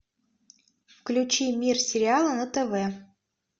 включи мир сериала на тв